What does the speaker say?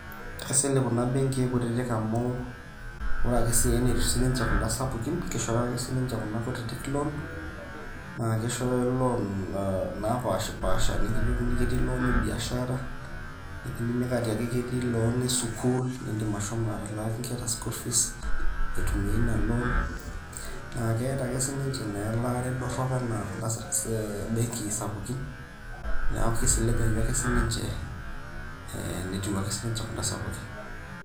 Kaisilig kuna benkii kutitik amu, ore ake si enetiu sinche kuda sapukin, kishooyo ake sinche kuna kutitik loan. Nakishooyo loan napashipasha. Nikijokini ketii loan ebiashara. Kidimi atiaki ketii loan esukuul, niidim ashomo atalaaki nkera school fees ,nitumie ina loan. Na keeta ake sinche na elaare dorrop enaa kuda benkii sapukin. Neeku kisiligayu ake sininche, netiu ake sinche enaa kuda sapukin.